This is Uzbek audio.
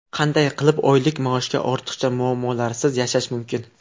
Qanday qilib oylik maoshga ortiqcha muammolarsiz yashash mumkin?.